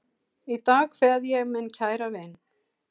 Í dag kveð ég minn kæra vin.